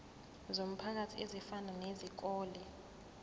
zomphakathi ezifana nezikole